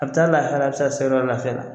A bɛ taa lahala a bɛ se o yɔrɔ la lafiya la